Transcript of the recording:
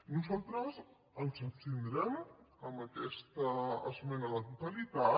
nosaltres ens abstindrem en aquesta esmena a la totalitat